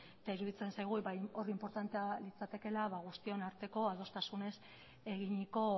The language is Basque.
eta iruditzen zaigu hor inportantea litzatekeela guztion arteko adostasunez eginiko